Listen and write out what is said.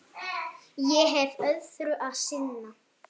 Ég hef öðru að sinna.